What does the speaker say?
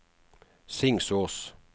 Singsås